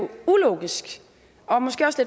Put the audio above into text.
jo ulogisk og måske også